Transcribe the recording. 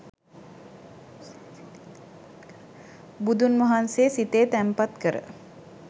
බුදුන් වහන්සේ සිතේ තැන්පත් කර